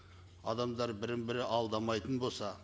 адамдар бірін бірі алдамайтын болса